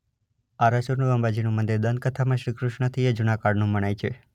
આરાસુરનું અંબાજીનું મંદિર દંતકથામાં શ્રીકૃષ્ણથીયે જુના કાળનું મનાય છે.